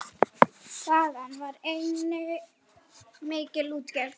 Þaðan var einnig mikil útgerð.